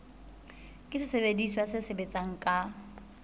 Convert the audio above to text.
ke sesebediswa se sebetsang ka